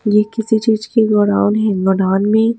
यह किसी चीज़ की गोडाउन है गोडाउन में--